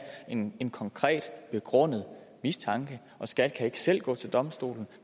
en en konkret begrundet mistanke og skat kan ikke selv gå til domstolen